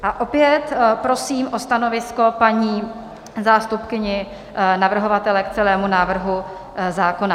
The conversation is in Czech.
A opět prosím o stanovisko paní zástupkyni navrhovatele k celému návrhu zákona.